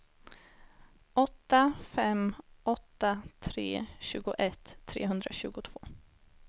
åtta fem åtta tre tjugoett trehundratjugotvå